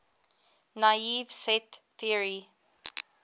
naive set theory